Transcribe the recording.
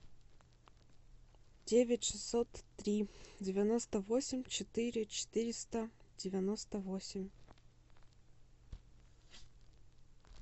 девять шестьсот три девяносто восемь четыре четыреста девяносто восемь